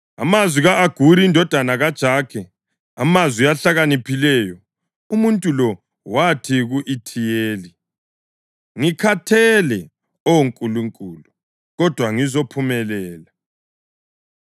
Amazwi ka-Aguri indodana kaJakhe, amazwi ahlakaniphileyo: Umuntu lo wathi ku-Ithiyeli: “Ngikhathele, Oh Nkulunkulu, kodwa ngizophumelela.